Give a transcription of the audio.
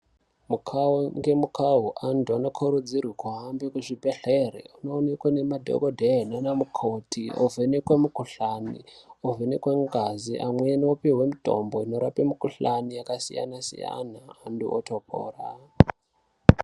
Mukawu nemukawo antu anokurudzirwa kuhambe kuzvibhedhlera achindionekwa nemadhokodheya Nana mukoti wovhenekwa mikuhlani wovhenekwa ngazi hino vopihwa mitombo inorapa mikuhlani yakasiyana siyana vantu votopora.